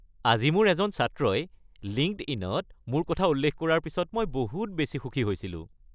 আজি মোৰ এজন ছাত্ৰই লিংকডইন-ত মোৰ কথা উল্লেখ কৰাৰ পিছত মই বহুত বেছি সুখী হৈছিলোঁ।